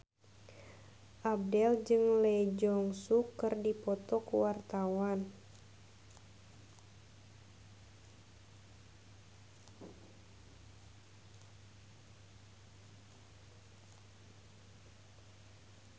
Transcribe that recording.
Abdel jeung Lee Jeong Suk keur dipoto ku wartawan